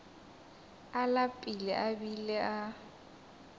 a lapile a bile a